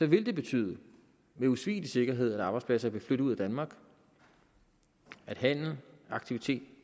vil det betyde med usvigelig sikkerhed at arbejdspladser vil flytte ud af danmark at handel og aktivitet